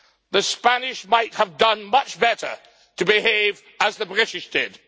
The Spanish might have done much better to behave as the British did.